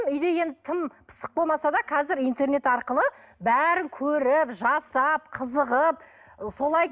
үйде енді тым пысық болмаса да қазір интернет арқылы бәрін көріп жасап қызығып солай